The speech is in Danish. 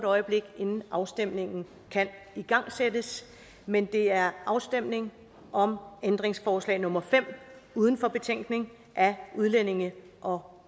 øjeblik inden afstemningen kan igangsættes men det er afstemning om ændringsforslag nummer fem uden for betænkningen af udlændinge og